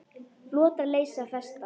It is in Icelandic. Flotar leysa festar.